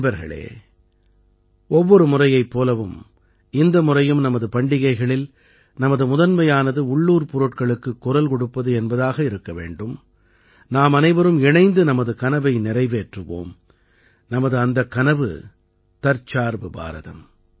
நண்பர்களே ஒவ்வொரு முறையைப் போலவும் இந்த முறையும் நமது பண்டிகைகளில் நமது முதன்மையானது உள்ளூர் பொருட்களுக்குக் குரல் கொடுப்பது என்பதாக இருக்க வேண்டும் நாமனைவரும் இணைந்து நமது கனவை நிறைவேற்றுவோம் நமது அந்தக் கனவு தற்சார்பு பாரதம்